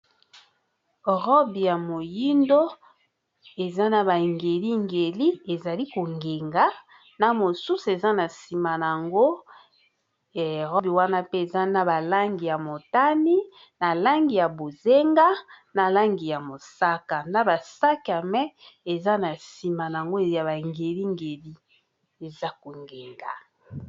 Robi ya moyindo eza na ba ngeli ngeli ezali kongenga na mosusu eza na nsima na yango robi wana mpe eza na balangi ya motani na langi ya bozenga na langi ya mosaka na basaka mai eza na nsima yango ya bangelingeli eza kongenga